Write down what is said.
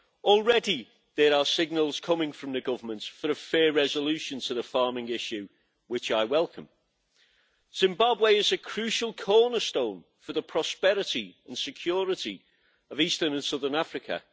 Already there are signals coming from the Government for a fair resolution to the farming issue, which I welcome. Zimbabwe is a crucial cornerstone for the prosperity and security of Eastern and Southern Africa.